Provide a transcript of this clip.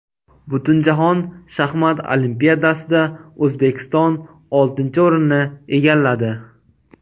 Butunjahon shaxmat olimpiadasida O‘zbekiston oltinchi o‘rinni egalladi.